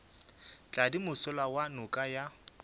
tladi mošola wa noka ya